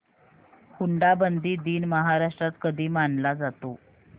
हुंडाबंदी दिन महाराष्ट्रात कधी मानला जातो